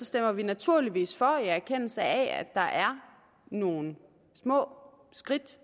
stemmer vi naturligvis for i erkendelse af at der er nogle små skridt